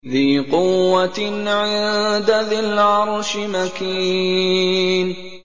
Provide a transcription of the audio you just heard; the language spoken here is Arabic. ذِي قُوَّةٍ عِندَ ذِي الْعَرْشِ مَكِينٍ